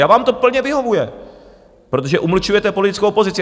A vám to plně vyhovuje, protože umlčujete politickou opozici!